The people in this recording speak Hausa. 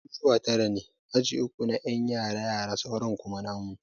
Ajujuwa tara ne, Aji uku na ƴan yara yara sauran kuma namu.